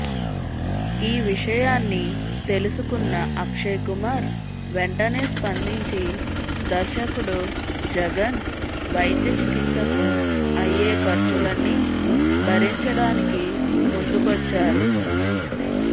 ఈ విషయాన్ని తెలుసుకున్న అక్షయ్ కుమార్ వెంటనే స్పందించి దర్శకుడు జగన్ వైద్య చికిత్సకు అయ్యే ఖర్చులన్నీ భరించడానికి ముందుకొచ్చారు